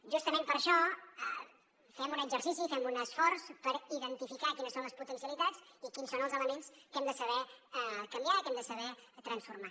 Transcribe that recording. justament per això fem un exercici i fem un esforç per identificar quines són les potencialitats i quins són els elements que hem de saber canviar que hem de saber transformar